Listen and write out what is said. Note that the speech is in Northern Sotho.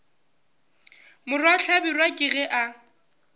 morwa hlabirwa ke ge a